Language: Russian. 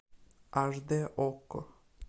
аш д окко